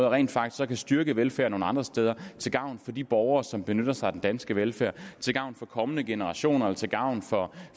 rent faktisk så kan styrke velfærden nogle andre steder til gavn for de borgere som benytter sig af den danske velfærd til gavn for kommende generationer og til gavn for